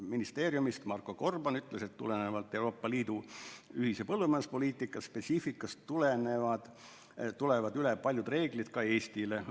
Ministeeriumist Marko Gorban ütles, et tulenevalt Euroopa Liidu ühise põllumajanduspoliitika spetsiifikast tulevad üle paljud reeglid ka Eestile.